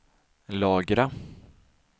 lagra